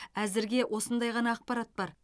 әзірге осындай ғана ақпарат бар